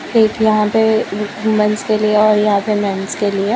एक यहां पे वूमेंन्स के लिए और यहां पे मेंस के लिए--